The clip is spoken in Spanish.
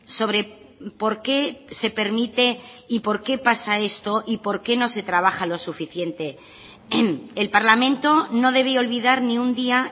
sobre por qué se permite y por qué pasa esto y por qué no se trabaja lo suficiente el parlamento no debe olvidar ni un día